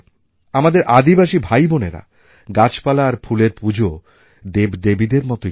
আমাদের আদিবাসী ভাইবোনেরা গাছপালা আর ফুলের পুজো দেবদেবীদের মতন করেই করে